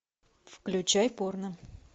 включай порно